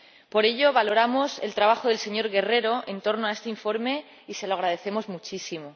Por ello, valoramos el trabajo del señor Guerrero en este informe y se lo agradecemos muchísimo.